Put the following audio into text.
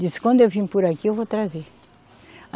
Disse, quando eu vim por aqui, eu vou trazer.